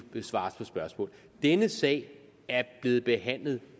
svares på spørgsmål denne sag er blevet behandlet